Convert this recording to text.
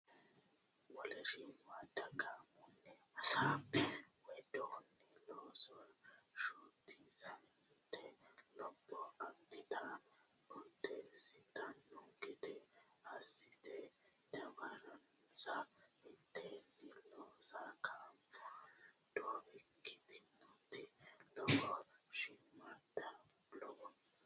Wole shimmadda gaamonni hasaabbe widoonni looso shotisatenna lopho abbate odeessitanno gede assite dawaronsa mitteenni loosa coommado ikkitooti Wole shimmadda Wole.